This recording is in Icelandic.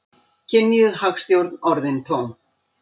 Kynjuð hagstjórn orðin tóm